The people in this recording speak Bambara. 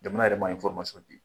Jamana yɛrɛ ma di.